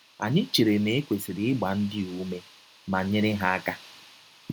Anyị chere na e kwesịrị ịgba ndị a ụme ma nyere ha aka.